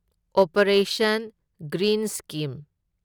operation green scheme